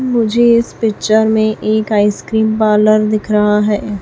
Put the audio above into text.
मुझे इस पिक्चर में एक आईस क्रीम पार्लर दिख रहा हैं।